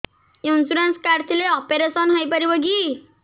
insurance card ଥିଲେ operation ହେଇପାରିବ କି